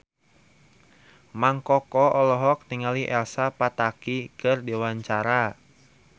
Mang Koko olohok ningali Elsa Pataky keur diwawancara